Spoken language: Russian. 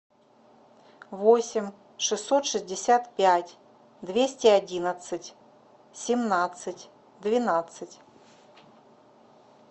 восемь шестьсот шестьдесят пять двести одиннадцать семнадцать двенадцать